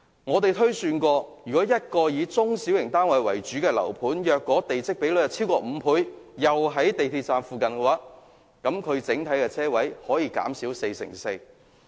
我們推算，以一個以中小型單位為主的樓盤為例，如果地積比率逾5倍，並位於港鐵站附近，整體車位數目可以減少四成四。